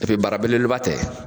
bara bele bele ba tɛ.